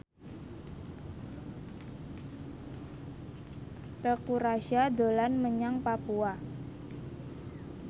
Teuku Rassya dolan menyang Papua